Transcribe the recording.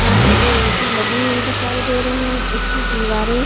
यहाँ पर दो ए.सी लगी हुई दिखाई दे रही है। इसकी दीवारे--